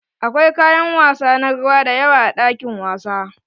Akwai kayan wasa na ruwa dayawa a ɗakin wasa.